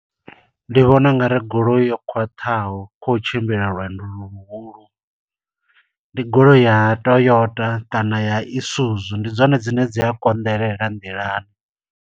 Ndi vhona ungari goloi yo khwaṱhaho khou tshimbila lwendo lu luhulu, ndi goloi ya Toyota kana ya Isuzu. Ndi dzone dzine dzi a konḓelela nḓilani.